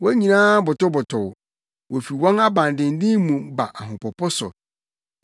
Wɔn nyinaa botobotow; wofi wɔn abandennen mu ba ahopopo so.